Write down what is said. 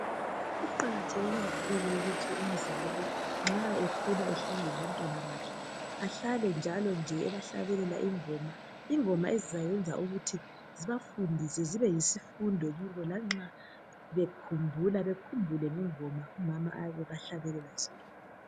Kuqakatheke kakhulu ukuthi nxa umzali ekhula ehlala labantwana bakhe ahlale njalo nje ebahlabelela ingoma. Ingoma ezizayenza ukuthi zibafundise zibe yisifundo kubo lanxa bekhumbula bekhumbule ingoma umama ayabe ebahlabelela zona.